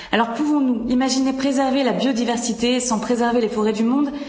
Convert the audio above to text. Alors pouvons nous imaginer préserver la biodiversité sans préserver les forêts du monde?